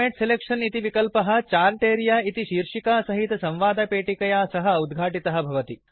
format selection इति विकल्पः chart area इति शीर्षिकासहित संवादपेटिकया सह उद्घाटितः भवति